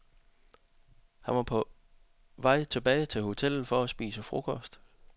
Han var på vej tilbage til hotellet for at spise frokost.